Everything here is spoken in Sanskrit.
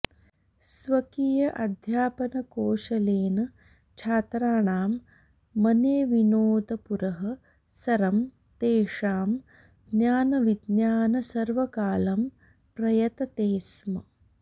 स्वकीय अध्यापनकोशलेन छात्राणाम् मनेविनाेदपुरः सरम् तेषाम् ज्ञान विज्ञान सर्वकालम् प्रयततेस्म